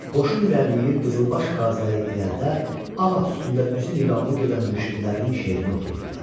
Qoşun irəliləyir, qızılbaş qaziləri irəlidə ağac üstündə üzü niqablı gedən mürşidlərinin şeirini oxuyurdular.